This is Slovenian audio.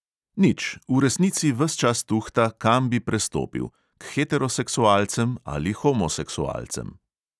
Nič, v resnici ves čas tuhta, kam bi prestopil – k heteroseksualcem ali homoseksualcem.